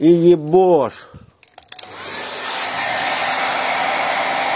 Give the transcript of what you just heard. и ебошь